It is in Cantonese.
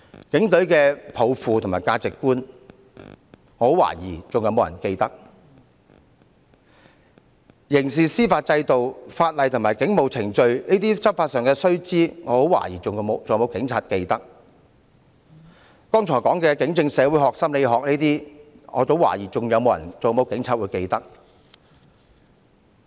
警隊抱負和價值觀，我很懷疑還有沒有人記得？刑事司法制度、法例及警務程序，這些執法上的須知，我很懷疑還有沒有警察記得？我剛才說的警政社會學、心理學，我很懷疑還有沒有警察記得？